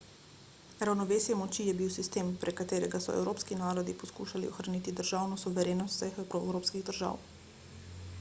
ravnovesje moči je bil sistem prek katerega so evropski narodi poskušali ohraniti državno suverenost vseh evropskih držav